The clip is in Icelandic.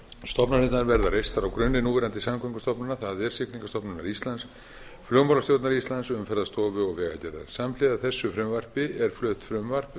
stofnanirnar verða reistar á grunni núverandi samgöngustofnunar það er siglingastofnunar íslands siglingastofnunar íslands umferðarstofustofu og vegagerðar samhliða þessu frumvarpi er flutt frumvarp um